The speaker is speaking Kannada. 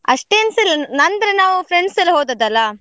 ಅಷ್ಟೇನ್ಸ ಇಲ್ಲ ನಂದ್ರೆ ನಾವ್ friends ಎಲ್ಲ ಹೊದದಲ್ಲ.